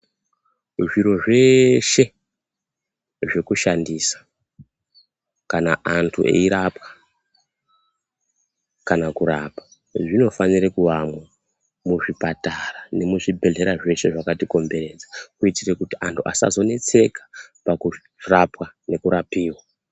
Zviro zveshe zvekushandisa, kana antu eirapwa kana kurapa, zvinofanira kuvamwo muzvipatara nemuzvibhedhlera zveshe zvakatikomberedza. Kuitira kuti anthu asazonetseke pakurapwa nekurapiva